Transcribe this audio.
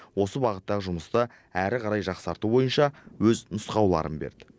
осы бағыттағы жұмысты әрі қарай жақсарту бойынша өз нұсқауларын берді